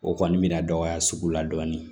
O kɔni min bɛna dɔgɔya sugu la dɔɔnin